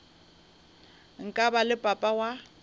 nka ba le papa wa